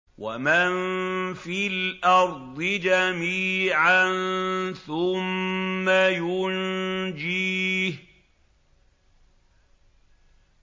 وَمَن فِي الْأَرْضِ جَمِيعًا ثُمَّ يُنجِيهِ